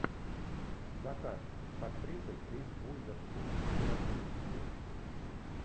закат с актрисой риз уизерспун у тебя в списке есть